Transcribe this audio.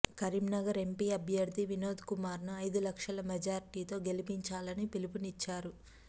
Karimnagar MP అభ్యర్థి వినోద్ కుమార్ ను ఐదు లక్షల మెజార్టీతో గెలిపించాలని పిలుపునిచ్చారు